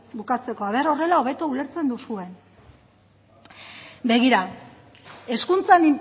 bukatzeko a ver horrela hobeto ulertzen duzuen begira hezkuntzan